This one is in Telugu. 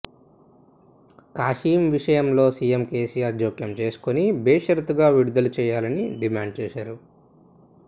కాశీం విషయంలో సీఎం కేసీఆర్ జోక్యం చేసుకుని బేషరతుగా విడుదల చేయాలని డిమాండ్ చేశారు